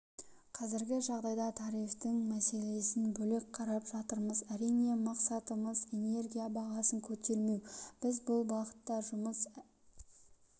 қазіргі жағдайда тарифтің мәселесін бөлек қарап жатырмыз әрине мақсатымыз энергия бағасын көтермеу біз бұл бағытта жұмыс